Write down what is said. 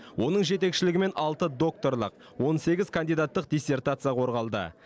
оның жетекшілігімен алты докторлық он сегіз кандидаттық диссертация қорғалды